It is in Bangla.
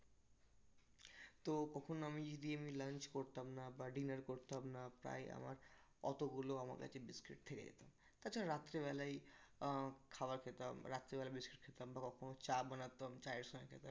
তো কখনো আমি যদি এমনি lunch করতাম না বা dinner করতাম না প্রায় আমার অতগুলো আমার কাছে biscuit থেকে যেত তা ছাড়া রাত্রে বেলায় আহ খাবার খেতাম, রাত্রে বেলা biscuit খেতাম বা কখনো চা বানাতাম, চায়ের সঙ্গে খেতাম